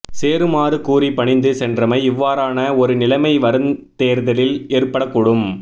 சேருமாறு கூறி பணிந்து சென்றமை இவ்வாறான ஒரு நிலைமை வருந் தேர்தலில் ஏற்படக்கூடும்